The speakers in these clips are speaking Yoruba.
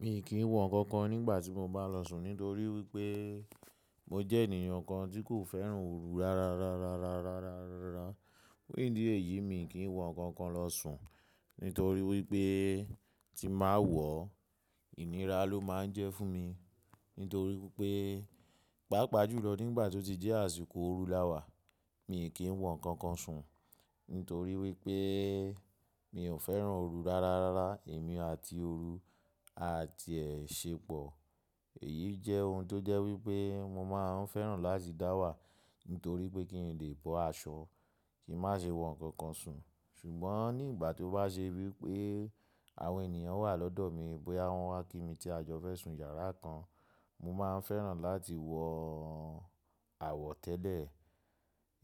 Mi kì í wọ nǹkan kan nígbà tí mo bá lọ sùn nítorí wípé mo jẹ́ ènìyàn kan tí kò fẹ́ràn ooru rárá. Rárá, rárá, rárá, rárá, rárá. Fun idí eyìí mi kì í wọ nǹkan kan lọ sùn nítorí wípé tí n bà wọ̀, ìnira ló máa ń jẹ́ fún mi. Nítorí pé, pàápàá jùlọ nígbà tó ti jẹ́ àsìkò ooru láwà, mi kì í wọ nǹkan kan sùn. Nítorí wípé mi ò fẹ́ràn ooru rárá, rárá. Èmi àti ooru a ti ẹ̀ ṣe pọ̀. Èyí jẹ́ ohun tó jẹ́ wípé mo máa ń fẹ́ràn láti dáwà nítorí pé kí n lè bọ́ aṣọ, kí n má ṣe wọ nǹkankan sùn. Ṣùgbọ́n ní igbà tó bá ṣe wípé àwọn ènìyàn wà lọ́dọ̀ mi, bóyá wọ́n wá kí mi tí a jọ fẹ́ sùn yàrá kan, mo máa ń fẹ́ràn láti wọ àwọ̀ tẹ́lẹ̀.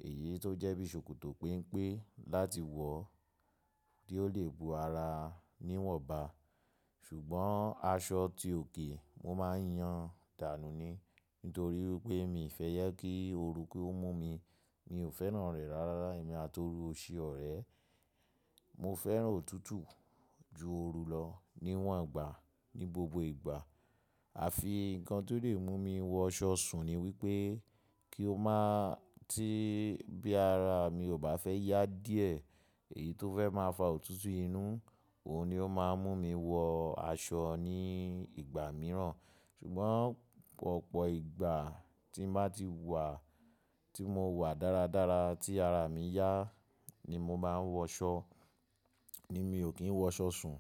Èyí tó jẹ́ bí ṣòkòtò penpé láti wọ̀, tí ó lè bo ara níwọ̀nba. Ṣùgbọ́n aṣọ tí òke, mo máa ń yan dànù ni. Nítorí wípé mii fẹ́ jẹ kí ooru ki ó mú mi. Mi ò fẹ́ràn rẹ̀ rárára. Èmi àti ooru ò ṣe ọ̀rẹ́. Mo fẹ́ràn òtútù ju ooru lọ níwọ̀n gba ní gbogbo ìgbà. Àfi nǹkan tó lè mú mi wọ aṣọ sùn ni wípé kí ó má tí bí ara mi ò bá fẹ́ yá díẹ̀, èyí tó fẹ́ má fa òtútù inú, òun ni ó máa ń mú mi wọ aṣọ ní ìgbà mìíràn. Ṣùgbọ́n ọ̀pọ̀ ìgbà tí n bá ti wà, tí mo wà dáradára tí ara mi yá ni mo máa ń wọṣọ, ni mi ò kí ń wọṣọ sùn.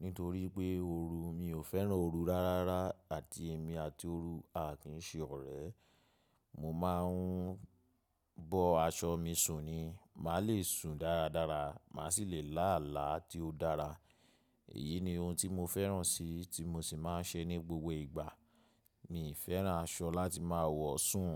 Nítorí pé ooru, mi ò fẹ́ràn ooru rárárá àti èmi àti ooru a kì í ṣe ọ̀rẹ́. Mo máa ń bọ aṣọ mi sùn ni. Màá lè sùn dáradára. Màá sì lè là álá tí ó dára. Èyí ni ohun tí mo fẹ́ràn si tí mo sì máa ń ṣe ní gbogbo ìgbà. Mii fẹ́ràn aṣọ láti má wọ̀ sùn.